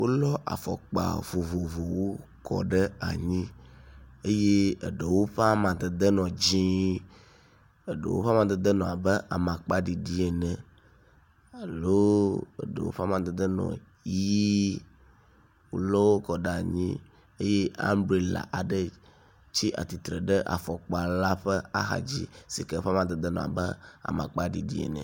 Wolɔ afɔkpa vovovowo kɔ da ɖe anyi eye eɖewo ƒe amadede le dzɛ̃, eɖewo ƒe amadede le abe amakpaɖiɖi ene alo eɖewo ƒe amadede le ʋɛ̃. Wolɔ wo kɔ ɖe anyi eye ambrela aɖe tsi atsitre ɖe afɔkpa la ƒe axadzi sike ƒe amadede le abe amakpa ɖiɖi ene.